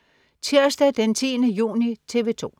Tirsdag den 10. juni - TV 2: